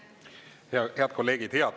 Head kolleegid!